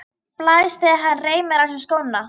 Blæs þegar hann reimar á sig skóna.